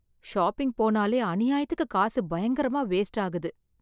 Shopping போனாலே அநியாயத்துக்கு காசு பயங்கரமா வேஸ்ட் ஆகுது.